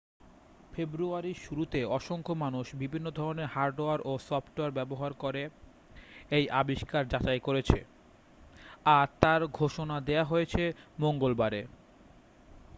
ফেব্রুয়ারির শুরুতে অসংখ্য মানুষ বিভিন্ন ধরণের হার্ডওয়্যার এবং সফটওয়্যার ব্যবহার করে এই আবিষ্কার যাচাই করেছে আর তার ঘোষণা দেয়া হয়েছে মংগলবারে